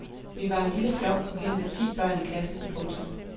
Vi var en lille flok på henved ti børn i klassen. punktum